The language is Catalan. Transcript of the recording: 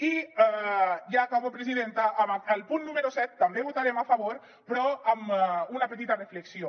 i ja acabo presidenta al punt número set també hi votarem a favor però amb una petita reflexió